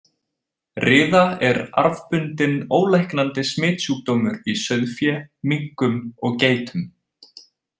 Riða er arfbundinn, ólæknandi smitsjúkdómur í sauðfé, minkum og geitum.